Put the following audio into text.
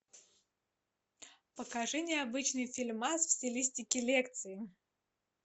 покажи необычный фильмас в стилистике лекции